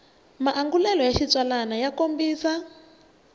maangulelo ya xitsalwambiko ya kombisa